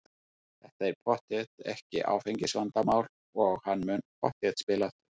Þetta er pottþétt ekki áfengisvandamál og hann mun pottþétt spila aftur.